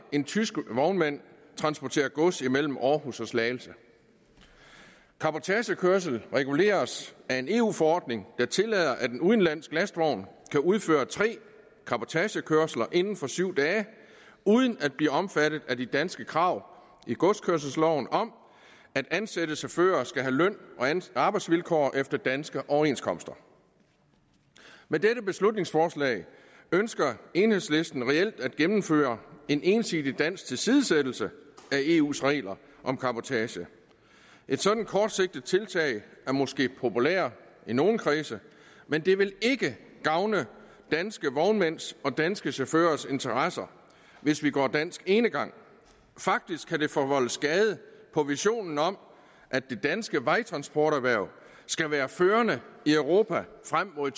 en tysk vognmand transporterer gods imellem aarhus og slagelse cabotagekørsel reguleres af en eu forordning der tillader at en udenlandsk lastvogn kan udføre tre cabotagekørsler inden for syv dage uden at blive omfattet af de danske krav i godskørselsloven om at ansatte chauffører skal have løn og arbejdsvilkår efter danske overenskomster med dette beslutningsforslag ønsker enhedslisten reelt at gennemføre en ensidig dansk tilsidesættelse af eus regler om cabotage et sådant kortsigtet tiltag er måske populært i nogle kredse men det vil ikke gavne danske vognmænds og danske chaufførers interesser hvis vi går dansk enegang faktisk kan det forvolde skade på visionen om at det danske vejtransporterhverv skal være førende i europa frem mod